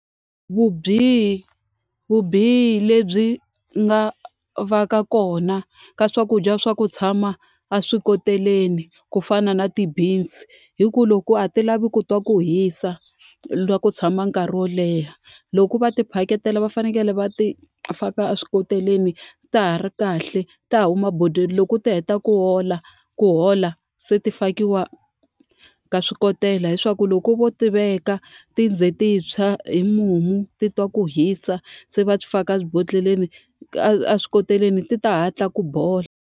vubihi lebyi nga va ka kona ka swakudya swa ku tshama a swikoteleni ku fana na ti-beans, i ku loko a ti lavi ku twa ku hisa na ku tshama nkarhi wo leha. Loko va tiphakela va fanekele va ti faka eswikoteleni ta ha ri kahle, ta huma bodweni. Loko ti heta ku hola ku hola se ti ya ka swikotela, leswaku loko vo ti veka ti ze ti tshwa hi mumu ti twa ku hisa, se va ti faka ebodhleleni eswikoteleni, ti ta hatla ku bola.